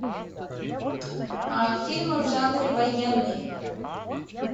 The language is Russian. фильмы в жанре военный